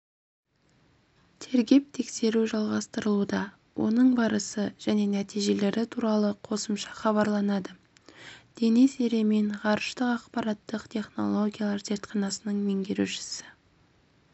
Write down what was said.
тергеп-тексеру жалғастырылуда оның барысы және нәтижелері туралы қосымша хабарланады денис еремин ғарыштық ақпараттық технологиялар зертханасының меңгерушісі